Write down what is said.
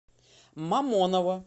мамоново